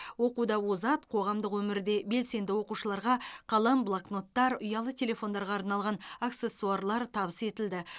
оқуда озат қоғамдық өмірде белсенді оқушыларға қалам блокноттар ұялы телефондарға арналған аксессуарлар табыс етілді